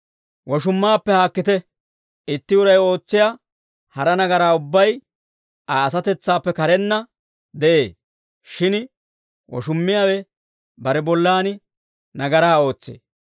Woshummaappe haakkite. Itti uray ootsiyaa hara nagaraa ubbay Aa asatetsaappe karenna de'ee; shin woshummiyaawe bare bollan nagaraa ootsee.